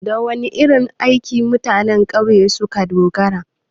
Da wana irin aiki mutanen ƙauye suka dogara?